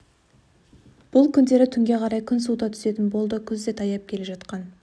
бұл күндері түнге қарай күн суыта түсетін болды күз де таяп келе жатқан